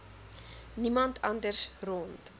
niemand anders rond